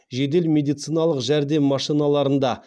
жедел медициналық жәрдем машиналарында